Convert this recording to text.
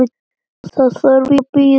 Það þurfti að bíða sumars.